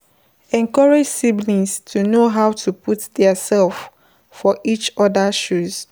Encourage siblings to know how to put their self for each oda shoes